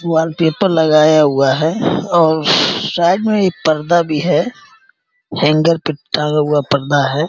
Wallpaper लगाया हुआ है और साइड मे एक पर्दा भी है हैंगर पे टांगा हुआ पर्दा हैं।